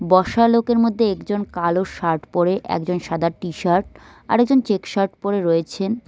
বসা লোকের মধ্যে একজন কালো শার্ট পরে একজন সাদা টিশার্ট আর একজন চেক শার্ট পরে রয়েছেন।